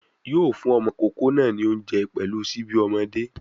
Yóò fún ọmọ ìkókó náà ní oúnjẹ pẹ̀lú síbí ọmọdé